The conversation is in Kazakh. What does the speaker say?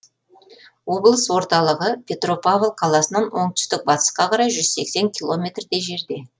облыс орталығы петропавл қаласынан оңтүстік батысқа қарай жүз сексен километрдей жерде